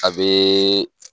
A bee